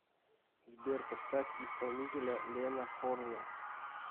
сбер поставь исполнителя лена хорне